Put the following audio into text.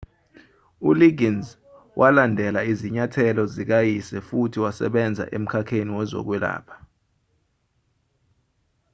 uliggins walandela izinyathelo zikayise futhi wasebenza emkhakheni wezokwelapha